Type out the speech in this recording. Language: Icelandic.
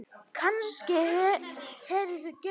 Kannske hefurðu gert það.